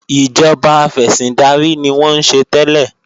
Ìjọba afẹ̀sìndarí ni wọ́n ń ṣe tẹ́lẹ̀